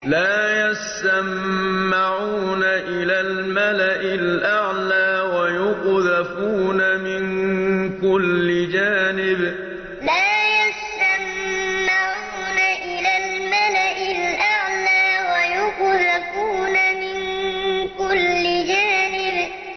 لَّا يَسَّمَّعُونَ إِلَى الْمَلَإِ الْأَعْلَىٰ وَيُقْذَفُونَ مِن كُلِّ جَانِبٍ لَّا يَسَّمَّعُونَ إِلَى الْمَلَإِ الْأَعْلَىٰ وَيُقْذَفُونَ مِن كُلِّ جَانِبٍ